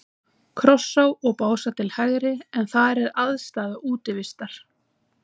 Krossá og Básar til hægri, en þar er aðstaða Útivistar.